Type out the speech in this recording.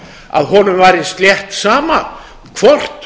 að honum væri slétt sama hvort